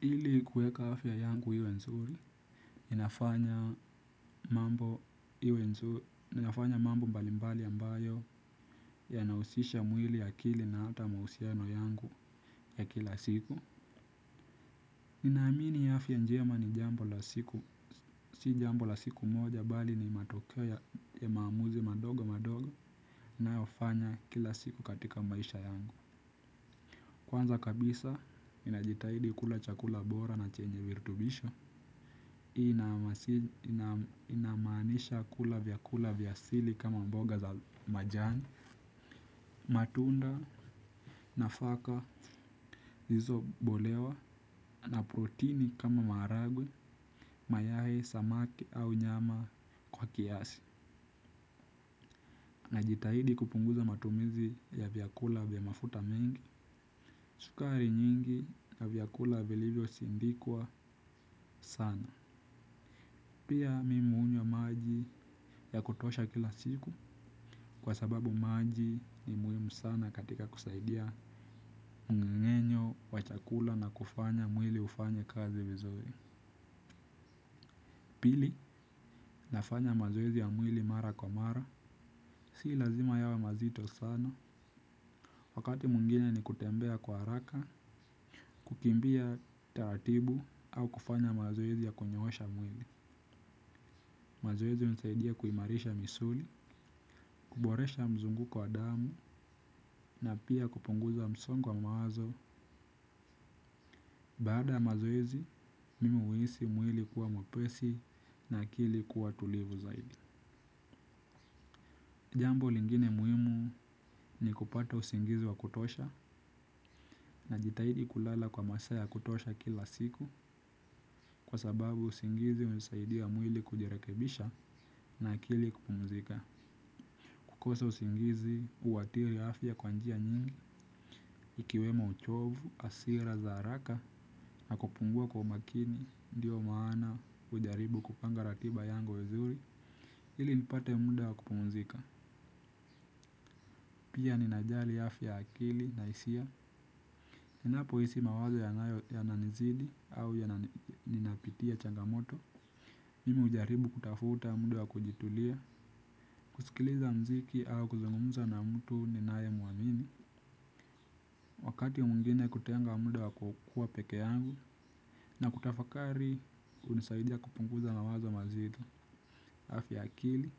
Ili kueka afya yangu iwe nzuri, ninafanya mambo iwe nzuri, ninafanya mambo mbalimbali ambayo yanahusisha mwili ya kili na ata mahusiano yangu ya kila siku. Ninaamini afya njema ni jambo la siku, si jambo la siku moja bali ni matokeo ya maamuzi madogo madogo, ninayofanya kila siku katika maisha yangu. Kwanza kabisa, ninajitahidi kula chakula bora na chenye virutubisho ina. Inamaanisha kula vyakula vya asili kama mboga za majani. Matunda nafaka hizo bolewa na protini kama maharagwe mayai, samaki au nyama kwa kiasi. Najitahidi kupunguza matumizi ya vyakula vya mafuta mengi sukari nyingi na vyakula vilivyosindikwa sana. Pia mimi hunywa maji ya kutosha kila siku. Kwa sababu maji ni muhimu sana katika kusaidia mng'eng'enyo, wa chakula na kufanya mwili ufanye kazi vizuri. Pili, nafanya mazoezi ya mwili mara kwa mara. Sii lazima yawe mazito sana, wakati mwingine ni kutembea kwa haraka, kukimbia taratibu au kufanya mazoezi ya kunyoosha mwili. Mazoezi hunisaidia kuimarisha misuli, kuboresha mzunguko wa damu na pia kupunguza msongo wa mawazo. Baada ya mazoezi, mimi huhisi mwili kuwa mwepesi na akili kuwa tulivu zaidi. Jambo lingine muhimu ni kupata usingizi wa kutosha najitahidi kulala kwa masaa ya kutosha kila siku kwa sababu usingizi hunisaidia mwili kujirekebisha na akili kupumzika. Kukosa usingizi, huathiri afya kwa njia nyingi, ikiwemo uchovu, hasira, za haraka, na kupungua kwa umakini, ndio maana hujaribu kupanga ratiba yangu vizuri ili nipate muda wa kupumzika, pia ninajali afya ya akili na hisia, ninapohisi mawazo yanayo yananizidi au ninapitia changamoto. Mimi hujaribu kutafuta muda wa kujitulia, kusikiliza mziki au kuzungumza na mtu ninaye muamini. Wakati mwingine kutenga muda wa kukuwa pekee yangu na kutafakari hunisaidia kupunguza mawazo mazito. Afya ya akili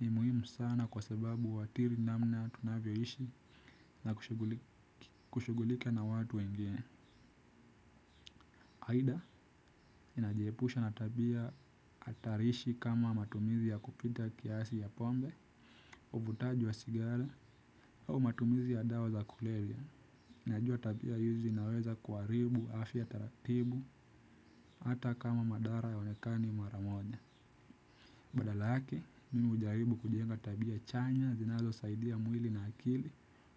ni muhimu sana kwa sababu huathiri namna tunavyoishi na kushughulika na watu wengine. Aidha ninajiepusha na tabia hatarishi kama matumizi ya kupita kiasi ya pombe, uvutaji wa sigara au matumizi ya dawa za kulevya. Najua tabia hizi zinaweza kuharibu afya taratibu. Hata kama madhara hayaonekani mara moja. Badala yake, mimi hujaribu kujenga tabia chanya zinazosaidia mwili na akili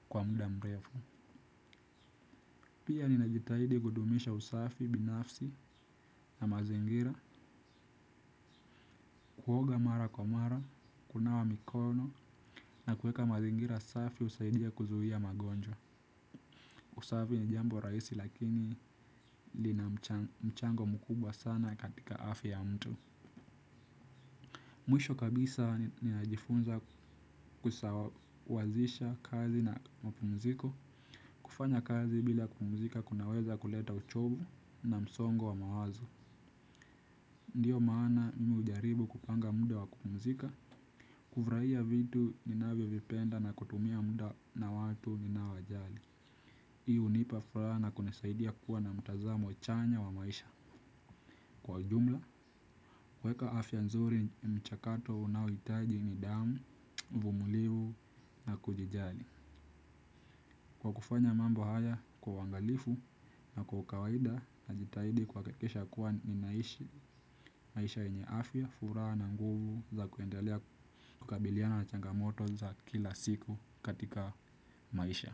kwa mda mrefu. Pia ninajitahidi kudumisha usafi binafsi na mazingira. Kuoga mara kwa mara, kunawa mikono na kuweka mazingira safi husaidia kuzuia magonjwa. Usafi ni jambo rahisi lakini lina mchango mkubwa sana katika afya ya mtu. Mwisho kabisa ninajifunza kusawazisha kazi na mapumziko. Kufanya kazi bila kupumzika kunaweza kuleta uchovu na msongo wa mawazo. Ndiyo maana mimi hujaribu kupanga muda wa kupumzika. Kufurahia vitu ninavyovipenda na kutumia muda na watu ninaowajali. Hii hunipa furaha na kunisaidia kuwa na mtazamo chanya wa maisha kwa ujumla. Kuweka afya nzuri na michakato unaohitaji ni damu, uvumilivu na kujijali. Kwa kufanya mambo haya kwa uangalifu na kwa kawaida najitahidi kuhakikisha kuwa ninaishi maisha yenye afya, furaha na nguvu. Za kuendelea kukabiliana na changamoto za kila siku katika maisha.